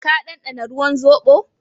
Ka dandana ruwan zobo?